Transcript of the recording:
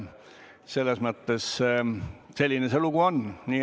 Selline see lugu on.